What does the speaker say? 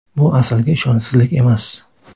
Bu Asalga ishonchsizlik emas.